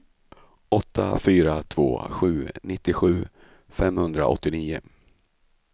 åtta fyra två sju nittiosju femhundraåttionio